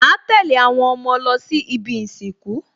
Màá tẹ̀lé àwọn ọmọ lọ sí ibi ìsìnkú